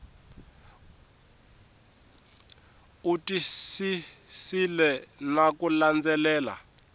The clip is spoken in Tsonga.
u twisisile na ku landzelela